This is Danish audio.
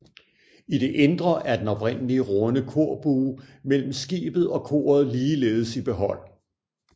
I det indre er den oprindelige runde korbue mellem skibet og koret ligeledes i behold